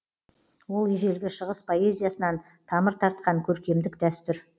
ол ежелгі шығыс поэзиясынан тамыр тартқан көркемдік дәстүр